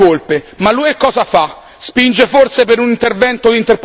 Certo, i governi italiani hanno le proprie colpe, ma l'UE cosa fa?